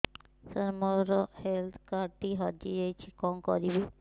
ସାର ମୋର health card ଟି ହଜି ଯାଇଛି କଣ କରିବି